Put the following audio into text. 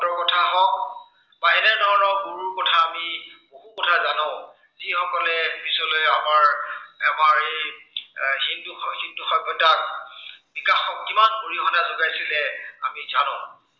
বা এনে ধৰনৰ গুৰুৰ কথা আমি বহু কথা জানো। যি সকলে পিচলৈ আমাৰ, আমাৰ এই এৰ সিন্ধু, সিন্ধু সভ্য়তাত, বিকাশত কিমান অৰিহণা যোগাইছিলে আমি জানো।